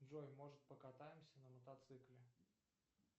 джой может покатаемся на мотоцикле